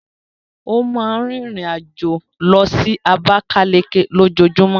Ó máa ń rìnrìn-àjò lọ sí Abakaliki lójoojúmọ́.